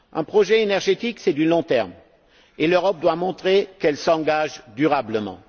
Un projet énergétique, c'est du long terme, et l'Europe doit montrer qu'elle s'engage durablement.